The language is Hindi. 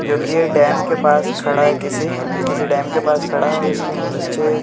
जोकि एक डैम के पास खड़ा है किसी किसी डैम के पास खड़ा है और उसके नीचे --